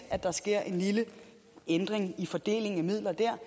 at der sker en lille ændring i fordelingen af midler dér